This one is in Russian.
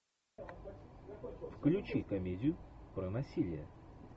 включи комедию про насилие